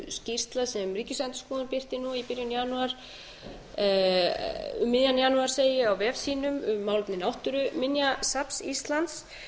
skýrsla sem ríkisendurskoðun birti nú í byrjun janúar um miðjan janúar segi ég á vef sínum málefni náttúruminjasafns íslands